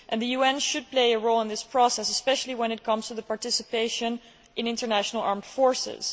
The UN should play a role in this process, especially when it comes to participation in international armed forces.